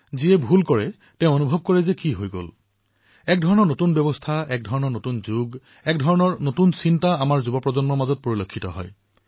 আৰু যিয়ে ভুল কাম কৰে তেওঁও অনুতপ্ত হয় যে এয়া কি হৈ গল এনে ধৰণৰ এক ব্যৱস্থা নতুন প্ৰকাৰৰ যুগ নতুন ধৰণৰ চিন্তা আমাৰ যুৱচামৰ মাজত পৰিলক্ষিত হয়